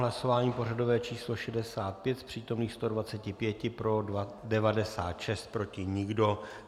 Hlasování pořadové číslo 65, z přítomných 125 pro 96, proti nikdo.